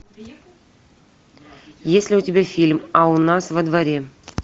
есть ли у тебя фильм а у нас во дворе